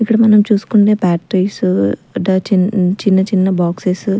ఇక్కడ మనం చూసుకునే ప్యాట్రీస్ చిన్ చిన్న చిన్న బాక్సెసు --